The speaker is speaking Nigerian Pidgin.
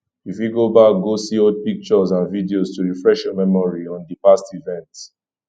you fit go back go see old pictures and videos to refresh your memory on di past event